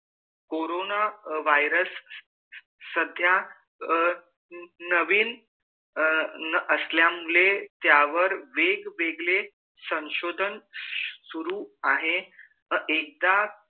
corona virus सध्या नवीन असल्या मुले त्या वर वेग वेगले संशोधन शुरू आहे एकदा